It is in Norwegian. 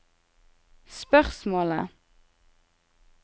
spørsmålet